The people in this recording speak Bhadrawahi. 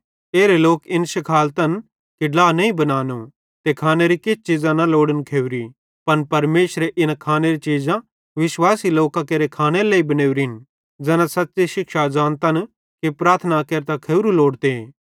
एरे लोक इन शिखालतन कि ड्ला नईं बनानो ते खानेरी किछ चीज़ां न लोड़न खेवरी पन परमेशरे इन खानेरी चीज़ां विश्वासी लोकां केरे खानेरे लेइ बनोरिन ज़ैना सच़्च़ी शिक्षा ज़ानतन कि प्रार्थना केरतां खावरू लोड़े